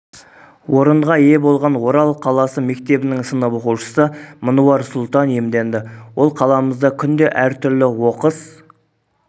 орынға ие болған орал қаласы мектебінің сынып оқушысы мынуар сұлтан иемденді ол қаламызда күнде әртүрлі оқыс